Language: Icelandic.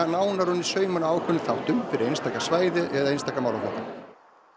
nánar ofan í saumana á ákveðnum þáttum fyrir einstaka svæði eða einstaka málaflokka